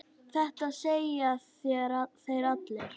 Þetta segja þeir allir!